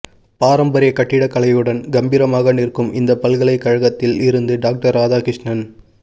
பாரம்பரிய கட்டிட கலையுடன் கம்பீரமாக நிற்கும் இந்த பல்கலை கழகத்தில் இருந்து டாக்டர் ராதா கிருஷ்ணன்